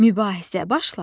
Mübahisə başladı.